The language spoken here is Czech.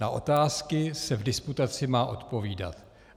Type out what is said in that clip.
Na otázky se v diskutaci má odpovídat.